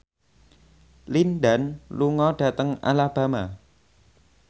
Lin Dan lunga dhateng Alabama